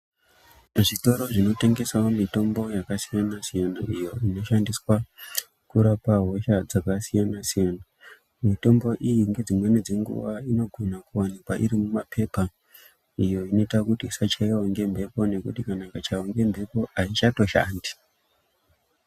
Zvitoro zvinotengesawo mitombo yakasiyana-siyana iyo inoshandiswa kurapa hosha dzakasiyana-siyana. Mitombo iyi ngedzimweni dzenguwa inogona kuwanikwa iri mumapepa iyo inoita kuti isachaiwa ngemhepo ngekuti kana ikachaiwa ngemhepo aichatoshandi.